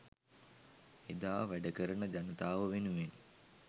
එදා වැඩකරන ජනතාව වෙනුවෙන්